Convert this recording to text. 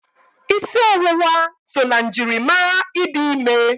Ịsị ọwụwa so na njirimara ịdị ime.